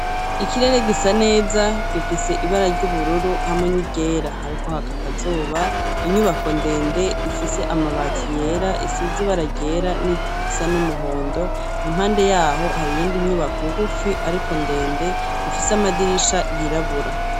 Ikirere gisa neza gifis' ibara ry'ubururu hamwe ni ryera, harik' ak' akazuba, inyubako ndend' ifis' amabati yera, isiz' ibara ryera ni risa n' umuhondo, impande yaho har' iyindi nyubako nguf'ifis' amadirisha yirabura.